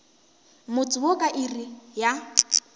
motse wo ka iri ya